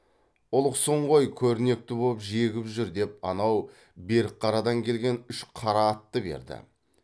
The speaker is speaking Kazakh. ұлықсың ғой көрнекті боп жегіп жүр деп анау берікқарадан келген үш қара атты берді